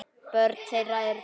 Börn þeirra eru tvö.